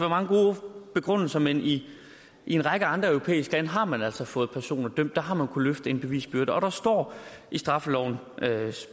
mange gode begrundelser men i en række andre europæiske lande har man altså fået personer dømt der har man kunnet løfte en bevisbyrde og der står i straffelovens